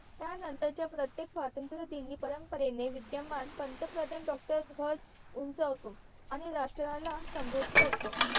त्या नंतंर च्या प्रत्येक स्वत्रंत्र दिनी परंपरेने विद्यमान पंथप्रधान doctor ध्वज उंचावतो आणि राष्ट्रला संभोधित करतो